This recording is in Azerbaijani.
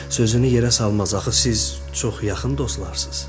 Sözünü yerə salmaz, axı siz çox yaxın dostlarsız.